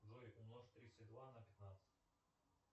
джой умножь тридцать два на пятнадцать